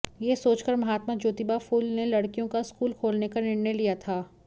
यह सोचकर महात्मा ज्योतिबा फूल ने लड़कियों का स्कूल खोलने का निर्णय लिया था